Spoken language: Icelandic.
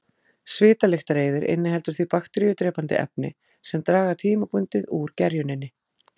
Svitalyktareyðir inniheldur því bakteríudrepandi efni sem draga tímabundið úr gerjuninni.